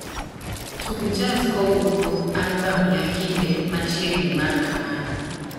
Tug jaz kowuok kuom albam ya kinde machiegni mar kamaru